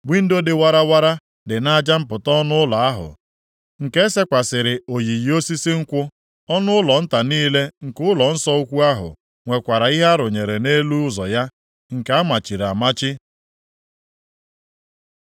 Windo + 41:26 Ya bụ, oghereikuku dị warawara dị nʼaja mpụta ọnụ ụlọ ahụ, nke e sekwasịrị oyiyi osisi nkwụ; ọnụụlọ nta niile nke ụlọnsọ ukwu ahụ nwekwara ihe a rụnyere nʼelu ụzọ ya, nke a machiri amachi.